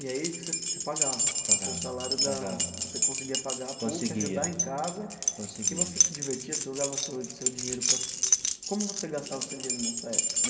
E aí você você pagava? Pagava. Com o seu salário da, você conseguia pagar a PUC? Conseguia. Ajudar em casa. Conseguia. E você se divertia, você usava o seu seu dinheiro para... Como você gastava o seu dinheiro nessa época?